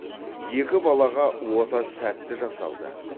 екі балаға ота сәтті жасалды